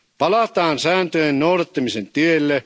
Palataan sääntöjen noudattamisen tielle.